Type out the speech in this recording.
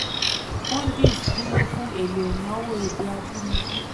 42. "hundis" dúró fún ohun èlò ìnáwó èdè abínibí.